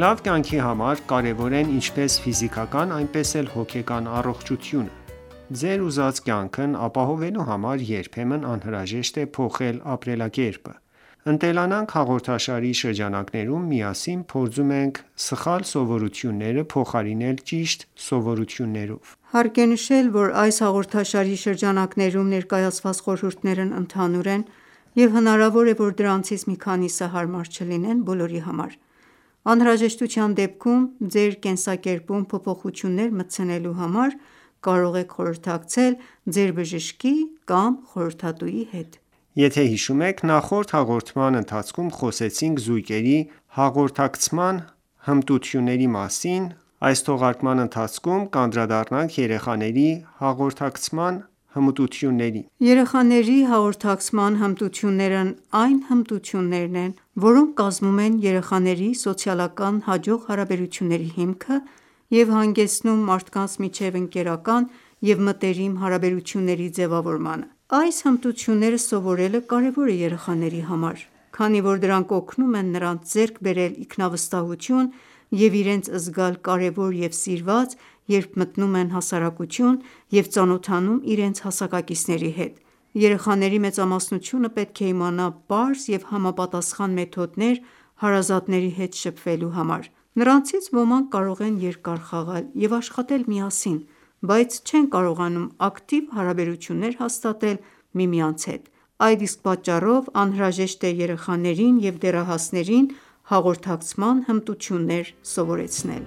Լավ կյանքի համար կարևոր է ինչպես ֆիզիկական, այնպես էլ հոգեկան առողջությունը: Ձեր ուզած կյանքն ապահովելու համար երբեմն անհրաժեշտ է փոխել ապրելակերպը: «Ընտելանանք» հաղորդաշարի շրջանակներում միասին փորձում ենք սխալ սովորությունները փոխարինել ճիշտ սովորություններով։ Հարկ է նշել, որ հաղորդաշարի շրջանակներում ներկայացված խորհուրդներն ընդհանուր են, և հնարավոր է, որ դրանցից մի քանիսը հարմար չլինեն բոլորի համար: Անհրաժեշտության դեպքում ձեր կենսակերպում փոփոխություններ մտցնելու համար կարող եք խորհրդակցել ձեր բժշկի կամ խորհրդատուի հետ: Ողջույն, սիրելի ունկնդիրներ։ Եթե հիշում եք, նախորդ հաղորդման ընթացքում խոսեցինք զույգերի հաղորդակցման հմտությունների մասին: Այս թողարկման ընթացքում կանդրադառնանք երեխաների հաղորդակցման հմտություններին։ Մնացեք մեզ հետ։ Երեխաների հաղորդակցման հմտություններն այն հմտություններն են, որոնք կազմում են երեխաների սոցիալական հաջող հարաբերությունների հիմքը և հանգեցնում մարդկանց միջև ընկերական և մտերիմ հարաբերությունների ձևավորմանը: Այս հմտությունները սովորելը կարևոր է երեխաների համար, քանի որ դրանք օգնում են նրանց ձեռք բերել ինքնավստահություն և իրենց զգալ կարևոր և սիրված՝ երբ մտնում են հասարակություն և ծանոթանում իրենց հասակակիցների հետ: Երեխաների մեծամասնությունը պետք է իմանա պարզ և համապատասխան մեթոդներ ՝ հարազատների հետ շփվելու համար։ Նրանցից ոմանք կարող են երկար խաղալ և աշխատել միասին, բայց չեն կարողանում ակտիվ հարաբերություններ հաստատել միմյանց հետ։ Այդ իսկ պատճառով անհրաժեշտ է երեխաներին և դեռահասներին հաղորդակցման հմտություններ սովորեցնել։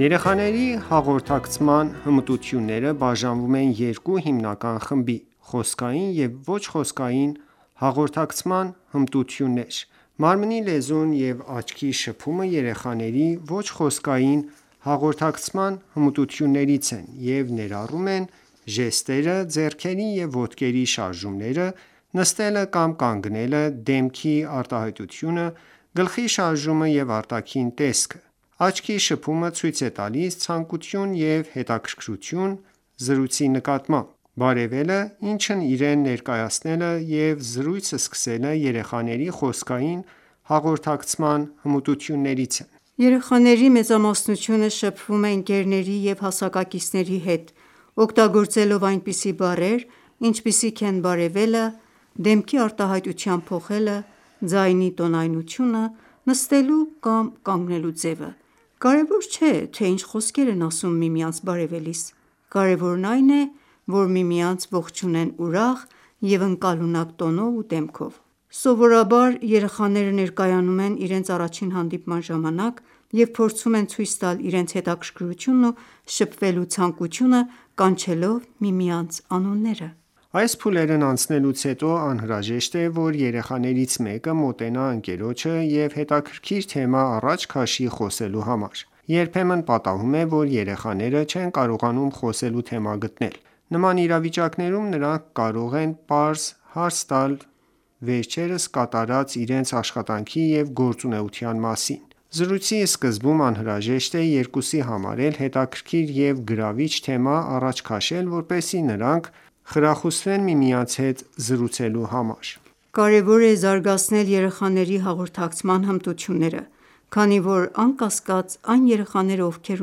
Երեխաների հաղորդակցման հմտությունները բաժանվում են երկու հիմնական խմբի՝ խոսքային և ոչ խոսքային հաղորդակցման հմտություններ։ Մարմնի լեզուն և տեսողական կապը երեխաների ոչ խոսքային հաղորդակցման հմտություններից են և ներառում են ժեստերը, ձեռքերի և ոտքերի շարժումները, նստելը կամ կանգնելը, դեմքի արտահայտությունը, գլխի շարժումը և արտաքին տեսքը: Տեսողական կապը ցույց է տալիս ցանկություն և հետաքրքրություն զրույցի նկատմամբ: Բարևելը, ինքն իրեն ներկայացնելը և զրույց սկսելը երեխաների խոսքային հաղորդակցման հմտություններից են։ Երեխաների մեծամասնությունը շփվում է ընկերների և հասակակիցների հետ՝ օգտագործելով այնպիսի բառեր, ինչպիսիք են բարևելը, դեմքի արտահայտության փոխելը, ձայնի տոնայնությունը, նստելու կամ կանգնելու ձևը: Կարևոր չէ, թե ինչ խոսքեր են ասում միմյանց բարևելիս, կարևորն այն է, որ միմյանց ողջունեն ուրախ և ընկալունակ տոնով ու դեմքով։ Սովորաբար, երեխաները ներկայանում են իրենց առաջին հանդիպման ժամանակ և փորձում են ցույց տալ իրենց հետաքրքրությունն ու շփվելու ցանկությունը՝ կանչելով միմյանց անունները: Այս փուլերն անցնելուց հետո անհրաժեշտ է, որ երեխաներից մեկը մոտենա ընկերոջը և հետաքրքիր թեմա առաջ քաշի խոսելու համար։ Երբեմն պատահում է, որ երեխաները չեն կարողանում խոսելու թեմա գտնել: Նման իրավիճակներում նրանք կարող են պարզ հարց տալ վերջերս կատարած իրենց աշխատանքի և գործունեության մասին։ Զրույցի սկզբում անհրաժեշտ է երկուսի համար էլ հետաքրքիր և գրավիչ թեմա առաջ քաշել, որպեսզի նրանք խրախուսվեն միմյանց հետ զրուցելու համար։ Կարևոր է զարգացնել երեխաների հաղորդակցման հմտությունները, քանի որ, անկասկած, այն երեխաները, ովքեր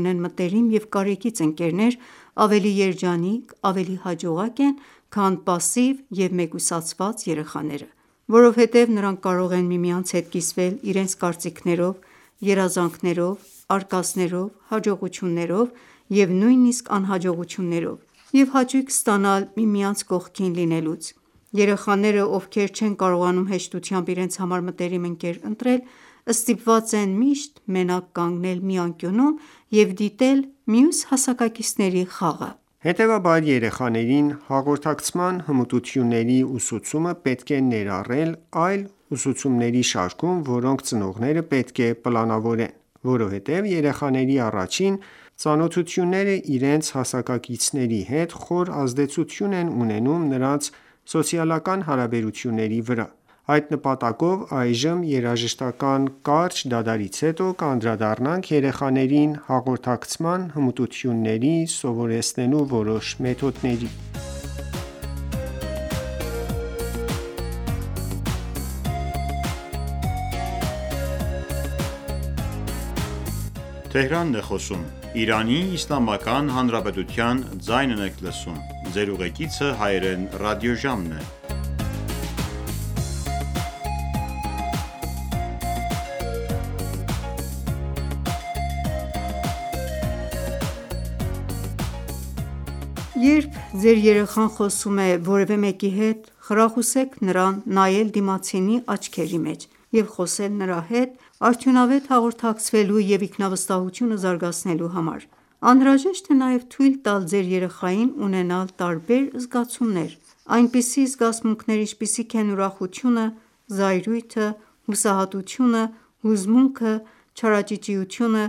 ունեն մտերիմ և կարեկից ընկերներ, ավելի երջանիկ, ավելի հաջողակ են, քան պասիվ և մեկուսացված երեխաները: Որովհետև նրանք կարող են միմյանց հետ կիսվել իրենց կարծիքներով, երազանքներով, արկածներով, հաջողություններով և նույնիսկ անհաջողություններով և հաճույք ստանալ միմյանց կողքին լինելուց: Երեխաները, ովքեր չեն կարողանում հեշտությամբ իրենց համար մտերիմ ընկեր ընտրել, ստիպված են միշտ մենակ կանգնել մի անկյունում և դիտել մյուս հասակակիցների խաղը։ Հետևաբար, երեխաներին հաղորդակցման հմտությունների ուսուցումը պետք է ներառել այլ ուսուցումների շարքում, որոնք ծնողները պետք է պլանավորեն: Որովհետև երեխաների առաջին ծանոթությունները իրենց հասակակիցների հետ խորը ազդեցություն են ունենում նրանց սոցիալական հարաբերությունների վրա: Այդ նպատակով, երաժշտական կարճ դադարից հետո, կանդրադառնանք երեխաներին հաղորդակցման հմտություններ սովորեցնելու որոշ մեթոդների։ Երբ ձեր երեխան խոսում է որևէ մեկի հետ, խրախուսեք նրան նայել դիմացինի աչքերի մեջ և խոսել նրա հետ՝ արդյունավետ հաղորդակցվելու և ինքնավստահությունը զարգացնելու համար: Անհրաժեշտ է նաև թույլ տալ ձեր երեխային ունենալ տարբեր զգացումներ: Այնպիսի զգացմունքներ, ինչպիսիք են ուրախությունը, զայրույթը, հուսահատությունը, հուզմունքը, չարաճճիությունը,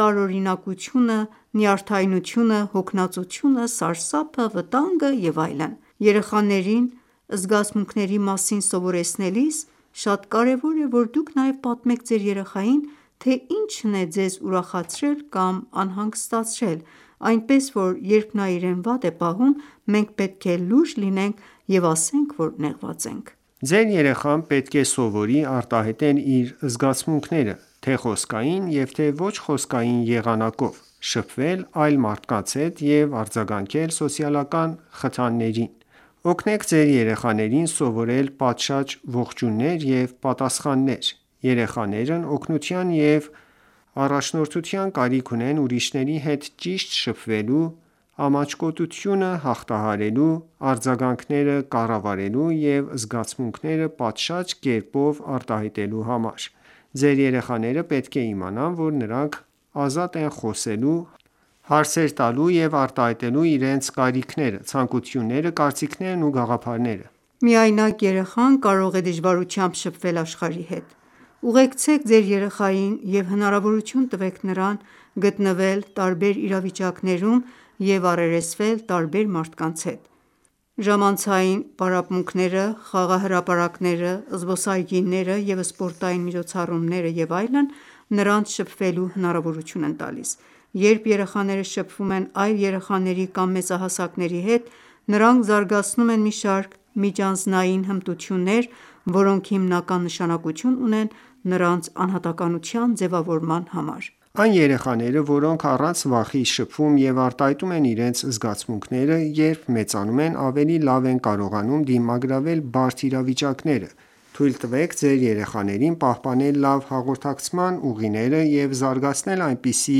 տարօրինակությունը, նյարդայնությունը, հոգնածությունը, սարսափը, վտանգը և այլն: Երեխաներին զգացմունքների մասին սովորեցնելիս շատ կարևոր է, որ դուք նաև պատմեք ձեր երեխային, թե ինչն է ձեզ ուրախացրել կամ անհանգստացրել, այնպես որ, երբ նա իրեն վատ է պահում, մենք պետք է լուրջ լինենք և ասենք, որ նեղված ենք: Ձեր երեխան պետք է սովորի արտահայտել իր զգացմունքները թե՛ խոսքային և թե՛ ոչ խոսքային եղանակով, շփվել այլ մարդկանց հետ և արձագանքել սոցիալական խթաններին: Օգնեք ձեր երեխաներին սովորել պատշաճ ողջույններ և պատասխաններ: Երեխաներն օգնության և առաջնորդության կարիք ունեն՝ ուրիշների հետ ճիշտ շփվելու, ամաչկոտությունը հաղթահարելու, արձագանքները կառավարելու և զգացմունքները պատշաճ կերպով արտահայտելու համար: Ձեր երեխաները պետք է իմանան, որ նրանք ազատ են՝ խոսելու, հարցեր տալու և արտահայտելու իրենց կարիքները, ցանկությունները, կարծիքներն ու գաղափարները: Միայնակ երեխան կարող է դժվարությամբ շփվել աշխարհի հետ: Ուղեկցեք ձեր երեխային և հնարավորություն տվեք նրան գտնվել տարբեր իրավիճակներում և առերեսվել տարբեր մարդկանց հետ: Ժամանցային պարապմունքները, խաղահրապարակները, զբոսայգիները և սպորտային միջոցառումները և այլն, նրանց շփվելու հնարավորություն են տալիս։ Երբ երեխաները շփվում են այլ երեխաների կամ մեծահասակների հետ, նրանք զարգացնում են մի շարք միջանձնային հմտություններ, որոնք հիմնական նշանակություն ունեն նրանց անհատականության համար: Այն երեխաները, որոնք առանց վախի շփվում և արտահայտում են իրենց զգացմունքները, հասուն տարիքում ավելի լավ են կարողանում դիմագրավել բարդ իրավիճակները: Թույլ տվեք ձեր երեխաներին պահպանել լավ հաղորդակցման ուղիները և զարգացնել այնպիսի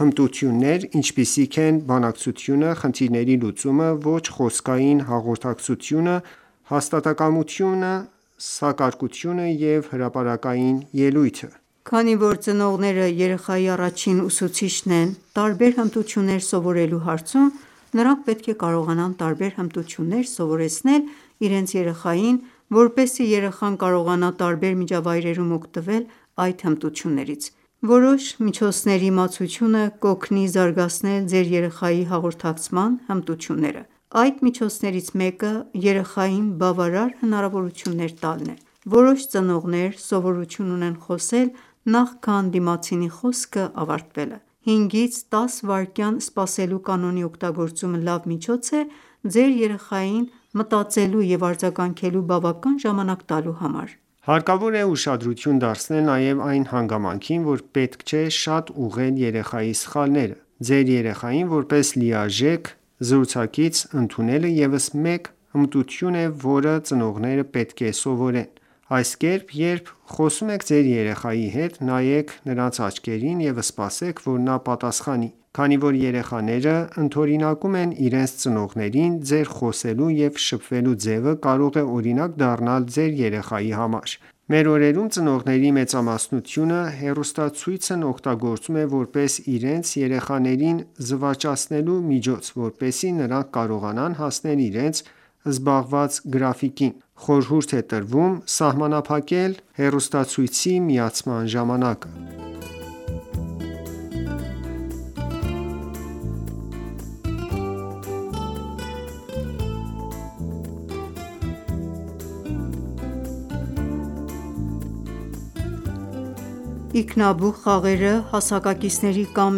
հմտություններ, ինչպիսիք են երկխոսությունը, խնդիրների լուծումը, ոչ խոսքային հաղորդակցությունը, հաստատակամությունը, սակարկելը և հրապարակային ելույթը: Քանի որ ծնողները երեխայի առաջին ուսուցիչն են տարբեր հմտություններ սովորելու հարցում, նրանք պետք է կարողանան տարբեր հմտություններ սովորեցնել իրենց երեխային, որպեսզի երեխան կարողանա տարբեր միջավայրերում օգտվել այդ հմտություններից: Որոշ միջոցների իմացությունը կօգնի զարգացնել ձեր երեխայի հաղորդակցման հմտությունները: Այդ միջոցներից մեկը երեխային բավարար հնարավորություններ տալն է: Որոշ ծնողներ սովորություն ունեն խոսել նախքան դիմացինի խոսքը ավարտելը: 5-ից 10 վայրկյան սպասելու կանոնի օգտագործումը լավ միջոց է՝ ձեր երեխային մտածելու և արձագանքելու բավական ժամանակ տալու համար: Հարկավոր է ուշադրություն դարձնել նաեւ այն հանգամանքին, որ պետք չէ շատ ուղղել երեխայի սխալները։ Երեխային որպես լիարժեք զրուցակից ընդունելը ևս մեկ հմտություն է, որը ծնողները պետք է սովորեն: Երբ խոսում եք ձեր երեխայի հետ, նայեք նրանց աչքերին և սպասեք, որ նա պատասխանի։ Քանի որ երեխաները ընդօրինակում են իրենց ծնողներին, ձեր խոսելու և շփվելու ձևը կարող է օրինակ դառնալ ձեր երեխայի համար: Մեր օրերում ծնողների մեծամասնությունը հեռուստացույցն օգտագործում է որպես երեխաներին զվարճացնելու միջոց, որպեսզի նրանք կարողանան հասնել իրենց զբաղված գրաֆիկին։ Խորհուրդ է տրվում սահմանափակել հեռուստացույցի միացման ժամանակը: Ինքնաբուխ խաղերը, հասակակիցների կամ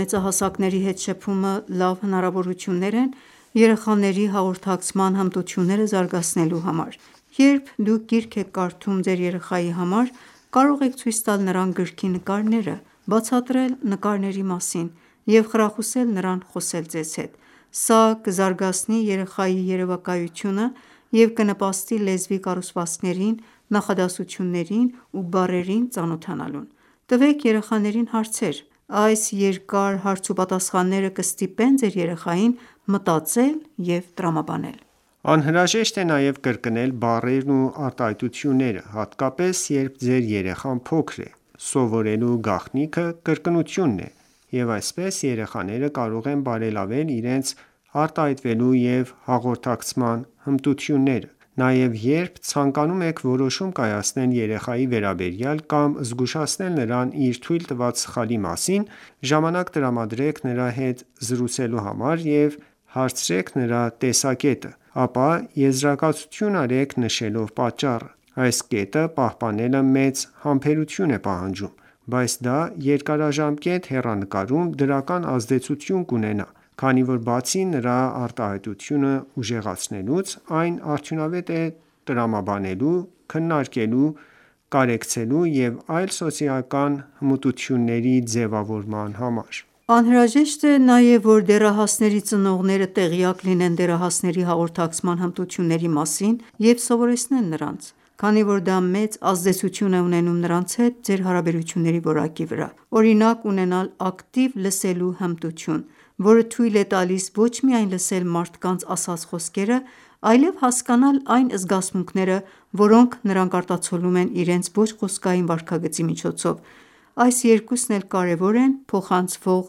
մեծահասակների հետ շփումը լավ հնարավորություններ են երեխաների հաղորդակցման հմտությունները զարգացնելու համար: Երբ դուք գիրք եք կարդում ձեր երեխայի համար, կարող եք ցույց տալ նրան գրքի նկարները, բացատրել նկարների մասին և խրախուսել նրան խոսել ձեզ հետ: Սա կզարգացնի երեխայի երեւակայությունը և կնպաստի լեզվի կառուցվածքներին, նախադասություններին ու բառերին ծանոթանալուն: Տվեք երեխաներին հարցեր: Այս երկար հարց ու պատասխանները կստիպեն ձեր երեխային մտածել և տրամաբանել: Անհրաժեշտ է նաև կրկնել բառերն ու արտահայտությունները, հատկապես, երբ ձեր երեխան փոքր է։ Սովորելու գաղտնիքը կրկնությունն է, և այսպես երեխաները կարող են բարելավել իրենց արտահայտվելու և հաղորդակցման հմտությունները: Նաև, երբ ցանկանում եք որոշում կայացնել երեխայի վերաբերյալ կամ զգուշացնել նրան իր թույլ տված սխալի մասին, ժամանակ տրամադրեք նրա հետ զրուցելու համար և հարցրեք նրա տեսակետը: Ապա եզրակացություն արեք՝ նշելով պատճառը։ Այս կետը պահպանելը մեծ համբերություն է պահանջում, բայց դա երկարաժամկետ հեռանկարում դրական ազդեցություն կունենա, քանի որ բացի նրա արտահայտությունը ուժեղացնելուց, այն արդյունավետ է տրամաբանելու, քննարկելու, կարեկցելու և այլ սոցիալական հմտությունների ձևավորման համար: Անհրաժեշտ է նաև, որ դեռահասների ծնողները տեղյակ լինեն դեռահասների հաղորդակցման հմտությունների մասին և սովորեցնեն նրանց, քանի որ դա մեծ ազդեցություն է ունենում նրանց հետ ձեր հարաբերությունների որակի վրա։ Օրինակ՝ ունենալ ակտիվ լսելու հմտություն, որը թույլ է տալիս ոչ միայն լսել մարդկանց ասած խոսքերը, այլև հասկանալ այն զգացմունքները, որոնք նրանք արտացոլում են իրենց ոչ խոսքային վարքագծի միջոցով: Այս երկուսն էլ կարևոր են փոխանցվող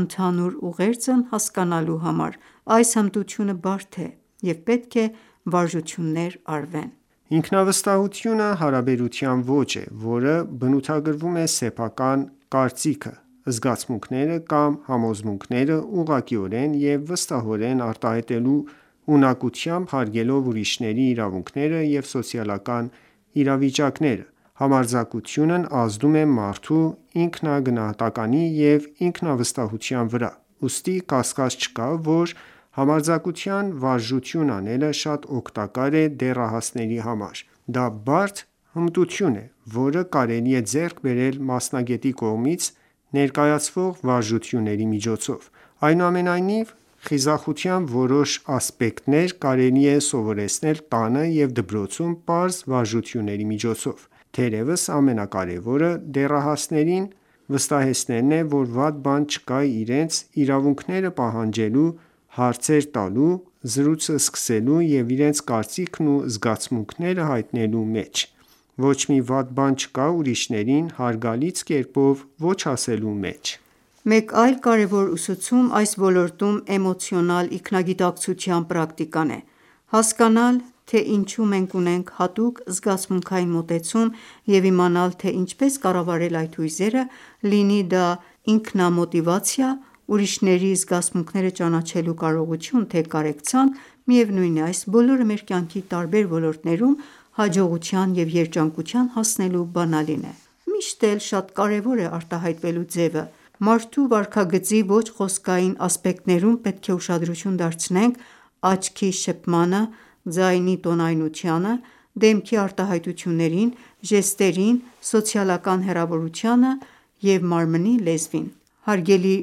ընդհանուր ուղերձն հասկանալու համար: Այս հմտությունը բարդ է և պետք է վարժություններ արվեն։ Ինքնավստահությունը հարաբերության ոճ է, որը բնութագրվում է սեփական կարծիքը, զգացմունքները կամ համոզմունքները ուղղակիորեն և վստահորեն արտահայտելու ունակությամբ՝ հարգելով ուրիշների իրավունքները և սոցիալական իրավիճակները: Համարձակությունն ազդում է մարդու ինքնագնահատականի և ինքնավստահության վրա, ուստի կասկած չկա, որ համարձակության վարժություն անելը շատ օգտակար է դեռահասների համար։ Դա բարդ հմտություն է, որը կարելի է ձեռք բերել մասնագետի կողմից ներկայացվող վարժությունների միջոցով: Ինքնավստահությունը կարելի է սովորեցնել տանը և դպրոցում պարզ վարժությունների միջոցով: Թերևս, ամենակարևորը դեռահասներին վստահեցնելն է, որ վատ բան չկա իրենց իրավունքները պահանջելու, հարցեր տալու, զրույցը սկսելու և իրենց կարծիքն ու զգացմունքները հայտնելու մեջ: Ոչ մի վատ բան չկա ուրիշներին հարգալից կերպով ոչ ասելու մեջ: Մեկ այլ կարևոր ուսուցում այս ոլորտում էմոցիոնալ ինքնագիտակցության պրակտիկան է: Հասկանալ, թե ինչու մենք ունենք հատուկ զգացմունքային մոտեցում, և իմանալ, թե ինչպես կառավարել այդ հույզերը, լինի դա ինքնամոտիվացիա, ուրիշների զգացմունքները ճանաչելու կարողություն, թե կարեկցանք: Այս բոլորը մեր կյանքի տարբեր ոլորտներում հաջողության և երջանկության բանալին են: Միշտ էլ շատ կարևոր է արտահայտվելու ձևը։ Մարդու վարքագծի ոչ խոսքային ասպեկտներում պետք է ուշադրություն դարձնենք տեսողական կապին, ձայնի տոնայնությանը, դեմքի արտահայտություններին, ժեստերին, սոցիալական հեռավորությանը, մարմնի լեզվին։ Հարգելի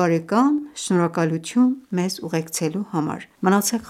բարեկման շնորհակալություն մեզ ուղեկցելու համար։ մնացեք